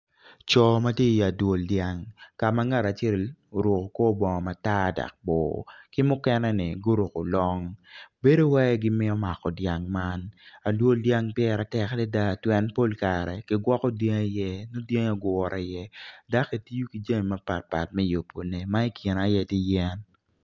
Co ma gitye i adwol dyang ka ma ngat acel oruko kor bongo matar dok bor ki mukene-ni guruko long bedo wai gimito mako dyang man.